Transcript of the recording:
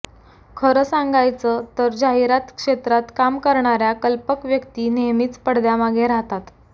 खरं सांगायचं तर जाहिरात क्षेत्रात काम करणाऱ्या कल्पक व्यक्ती नेहमीच पडद्यामागे राहतात